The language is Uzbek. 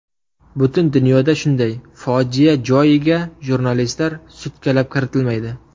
Butun dunyoda shunday, fojia joyiga jurnalistlar sutkalab kiritilmaydi.